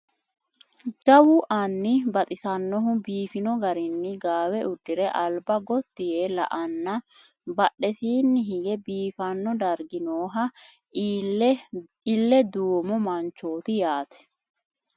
Jawu anni baxisannohu biifino garinni gaawe uddire alba gotti yee la"anna badhesiinni hige biifanno dargi nooha ille duumo manchooti yaate